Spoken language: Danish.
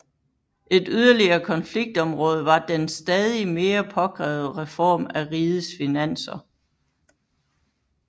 Et yderligere konfliktområde var den stadig mere påkrævede reform af rigets finanser